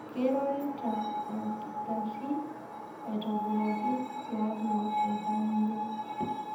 Keirorita olkitari aitobiraki tialo oltamwoyiai.